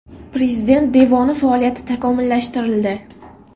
Prezident devoni faoliyati takomillashtirildi .